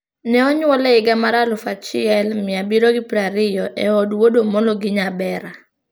Ne onyuole e higa mar 1720 e od Wuod Omolo gi Nyabera.